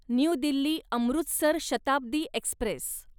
new Delhi Amritsar Shatabdi Express